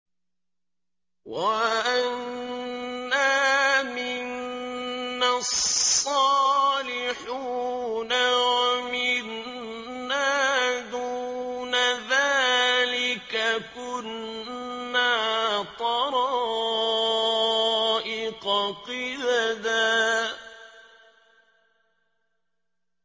وَأَنَّا مِنَّا الصَّالِحُونَ وَمِنَّا دُونَ ذَٰلِكَ ۖ كُنَّا طَرَائِقَ قِدَدًا